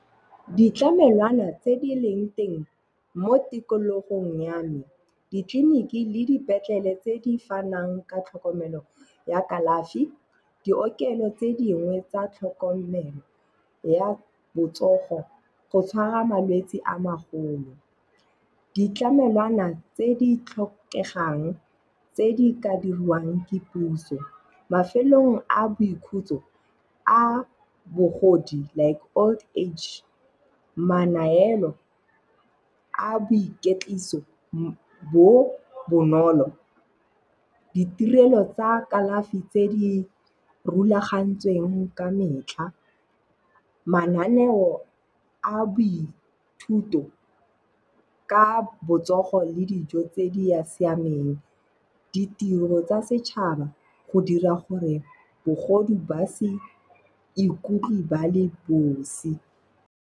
Ditlamelwana tse di leng teng mo tikologong ya me, ditleliniki le dipetlele tse di fanang ka tlhokomelo ya kalafi, diokelo tse dingwe tsa tlhokomelo ya botsogo go tshwara malwetse a magolo. Ditlamelwana tse di tlhokegang tse di ka diriwang ke puso. Mafelong a boikhutso a bogodi like old age, manaelo a boiketliso bo bonolo, ditirelo tsa kalafi tse di rulagantsweng ka metlha, mananeo a boithuto ka botsogo le dijo tse di ya siameng, ditiro tsa setšhaba go dira gore bagodi ba se ikutlwe ba le bosi.